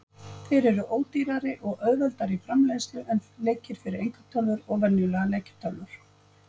Þeir eru ódýrari og auðveldari í framleiðslu en leikir fyrir einkatölvur og venjulegar leikjatölvur.